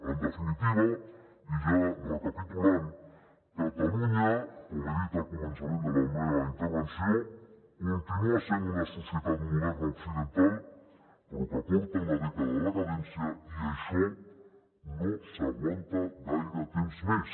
en definitiva i ja recapitulant catalunya com he dit al començament de la meva intervenció continua sent una societat moderna occidental però que porta una dècada de decadència i això no s’aguanta gaire temps més